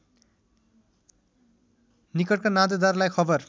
निकटका नातेदारलाई खबर